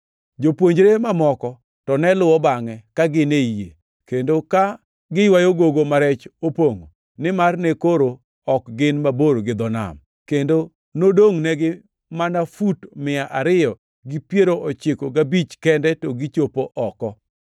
Jopuonjre mamoko to ne luwo bangʼe ka gin ei yie, kendo ka giywayo gogo ma rech opongʼo, nimar ne koro ok gin mabor gi dho nam, kendo nodongʼnegi mana fut mia ariyo gi piero ochiko gabich kende to gichop oko.